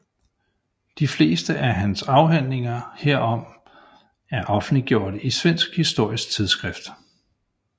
De fleste af hans afhandlinger herom er offentliggjorte i svensk Historisk Tidskrift